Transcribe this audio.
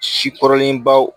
Si kɔrɔlen baw